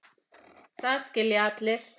Það skilja allir.